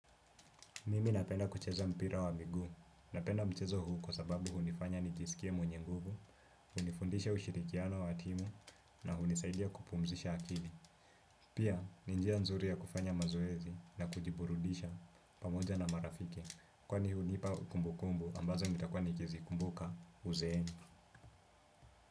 Mimi napenda kucheza mpira wa miguu, napenda mchezo huu kwa sababu hunifanya nijisikie mwenye nguvu, hunifundisha ushirikiano wa timu, na hunisaidia kupumzisha akili. Pia, ni njia nzuri ya kufanya mazoezi na kujiburudisha pamoja na marafike, kwani hunipa kumbukumbu ambazo nitakuwa nikizikumbuka uzeeni.